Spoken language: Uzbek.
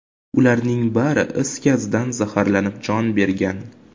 Ularning bari is gazdan zaxarlanib, jon bergan.